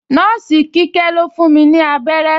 Nọ́ọ̀sì Kíkẹ́ ló fún mi abẹ́rẹ́